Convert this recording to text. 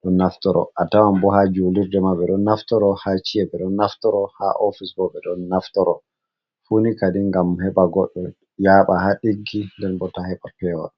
ɗon naftoro atawan bo ha julurde ma ɓe ɗon naftoro ha ciye, ɓe ɗon naftoro ha ofis bo ɓe ɗon naftoro fu ni kadi ngam heɓa goɗɗo yaɓa ha ɗiggi nden bo ta heɓa pewol.